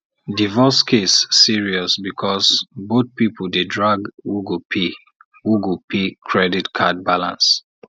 divorce case serious because both people dey drag who go pay who go pay credit card balance